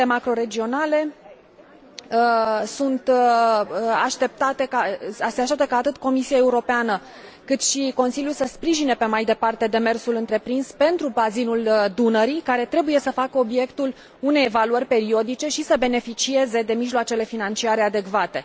Se așteaptă ca atât Comisia Europeană, cât și Consiliul să sprijine mai departe demersul întreprins pentru bazinul Dunării, care trebuie să facă obiectul unei evaluări periodice și să beneficieze de mijloacele financiare adecvate.